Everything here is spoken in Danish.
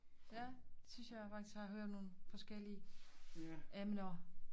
Ja synes jeg faktisk har hørt nogle forskellige emner